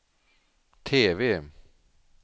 TV